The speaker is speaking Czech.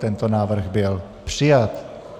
Tento návrh byl přijat.